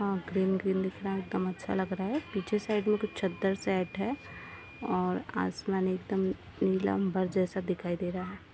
आ green - green दिख रहा है एक दम अच्छा लग रहा है पीछे साइड में कुछ चादर साइट है और आसमान एकदम नीलम्बेर जैसा लग रहा है ।